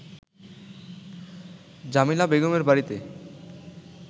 জামিলা বেগমের বাড়িতে